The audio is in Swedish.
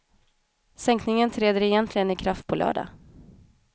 Sänkningen träder egentligen i kraft på lördag.